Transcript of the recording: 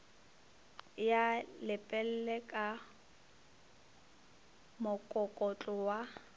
ya lepelle ka mokokotlo wa